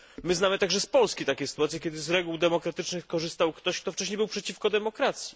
My znamy także z Polski takie sytuacje, kiedy z reguł demokratycznych korzystał ktoś, kto wcześniej był przeciwko demokracji.